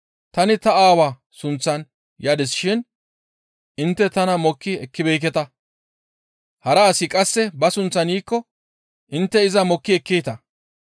Tani ta Aawa sunththan yadis shin intte tana mokki ekkibeekketa. Hara asi qasse ba sunththan yiikko intte iza mokki ekkeeta.